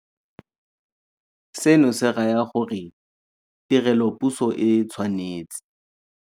Seno se raya gore tirelopuso e tshwanetse